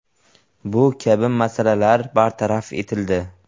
Bu kabi masalalar bartaraf etildi.